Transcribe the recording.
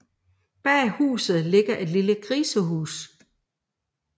Bag huset ligger et lille grisehus